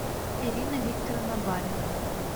ирина викторовна балина